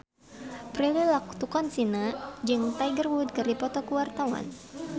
Prilly Latuconsina jeung Tiger Wood keur dipoto ku wartawan